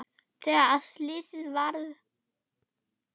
Þegar að slysið varð?